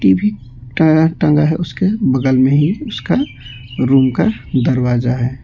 टँगा है उसके बगल में ही उसका रूम का दरवाजा है।